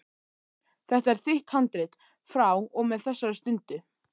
Þetta er þitt handrit frá og með þessari stundu.